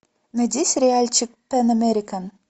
найди сериальчик пэн американ